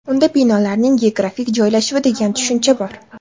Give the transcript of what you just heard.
Unda binolarning geografik joylashuvi degan tushuncha bor.